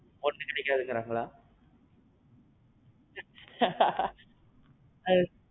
பொண்ணு கிடைக்காதுங்குறாங்களா? ஹா ஹா.